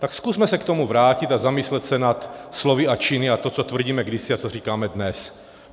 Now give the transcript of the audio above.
Tak zkusme se k tomu vrátit a zamyslet se nad slovy a činy a to, co tvrdíme kdysi a co říkáme dnes.